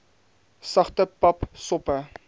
sagte pap soppe